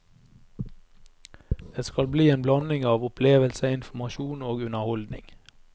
Det skal bli en blanding av opplevelse, informasjon og underholdning.